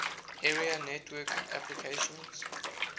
area network applications